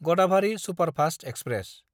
Gadabhari superfast express